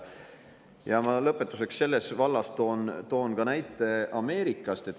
Ja lõpetuseks toon selles vallas näite Ameerikast.